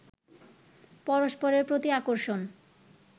পরস্পরের প্রতি আকর্ষণ